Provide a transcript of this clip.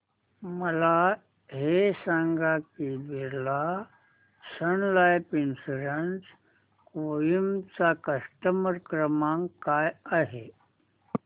मला हे सांग की Birla Sun Life insurance Kohima चा कस्टमर केअर क्रमांक काय आहे